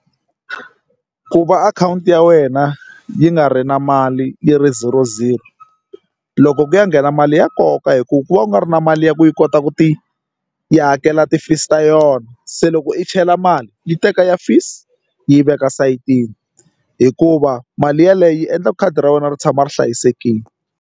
Ku va akhawunti ya wena yi nga ri na mali yi ri zero zero loko ku ya nghena mali ya koka hi ku ku va u nga ri na mali ya ku yi kota ku ti yi hakela ti-fees ta yona se loko i chela mali yi teka ya fees yi yi veka sayitini hikuva mali yeleyo yi endla khadi ra wena ri tshama ri hlayisekile.